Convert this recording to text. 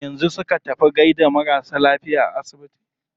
Yanzu su ka tafi gaida marasa lafiya a asibiti?